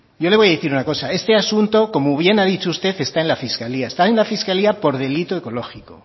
yo le voy a decir una cosa este asunto como bien ha dicho usted está en la fiscalía está en la fiscalía por delito ecológico